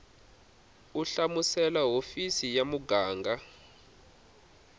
u hlamusela hofisi ya muganga